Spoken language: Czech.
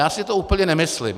Já si to úplně nemyslím.